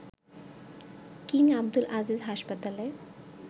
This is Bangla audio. কিং আবদুল আজিজ হাসপাতালে